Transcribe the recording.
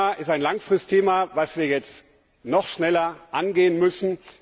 Dieses Thema ist ein langfristiges Thema, das wir jetzt noch schneller angehen müssen.